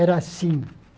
Era assim.